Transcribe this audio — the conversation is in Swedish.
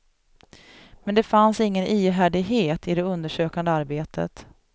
Men det fanns ingen ihärdighet i det undersökande arbetet.